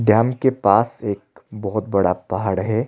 Dam के पास एक बहोत बड़ा पहाड़ है।